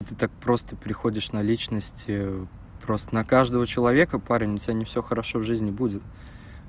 и ты так просто переходишь на личности просто на каждого человека парень у тебя не всё хорошо в жизни будет